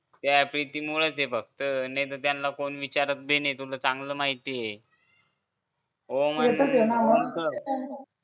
त्या पेटी मुळचंये फक्त नाही तर त्यांना कोणी विचारत बी नाही तुला चांगलं माहित ये